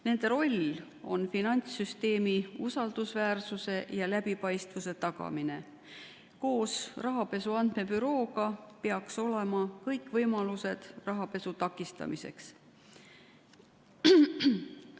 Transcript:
Nende roll on tagada finantssüsteemi usaldusväärsus ja läbipaistvus, koos Rahapesu Andmebürooga peaks olema loodud kõik võimalused rahapesu takistamiseks.